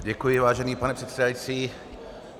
Děkuji, vážený pane předsedající.